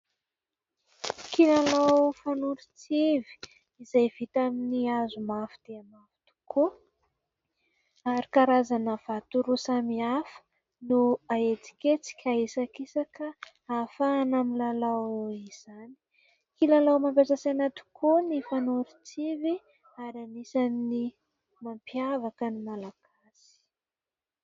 Kilalao fanoron-tsivy izay vita amin'ny hazo mafy dia mafy tokoa ary karazana vato roa samihafa no ahetsiketsika sy ahisakisaka, ahafahana amin'ny lalao izany kilalao mampiasa saina tokoa ny fanoron-tsivy ary anisan'ny mampiavaka ny malagasy.